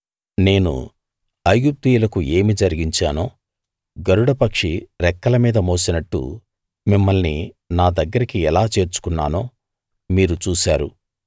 నేను ఐగుప్తీయులకు ఏమి జరిగించానో గరుడ పక్షి రెక్కల మీద మోసినట్టు మిమ్మల్ని నా దగ్గరికి ఎలా చేర్చుకొన్నానో మీరు చూశారు